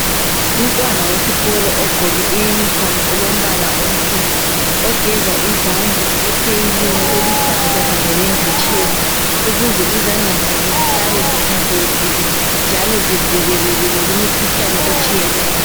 Umntwana wesikolo ogqoke iyunifomu elombala onsundu, ogeza izandla epheyilini eluhlaza kanye lenditshini ukuze izandla zakhe zihlale zihlanzekile njalo zivikelekile kumikhuhlane etshiyeneyo.